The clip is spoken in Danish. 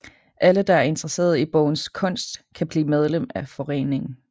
Alle der er interesseret i bogens kunst kan blive medlem af foreningen